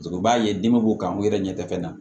U b'a ye den b'u kan u yɛrɛ ɲɛ tɛ fɛn na